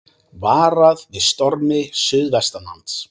Varað við stormi suðvestanlands